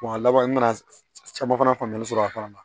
a laban n nana caman fana faamuyali sɔrɔ a fana na